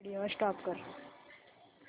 video stop कर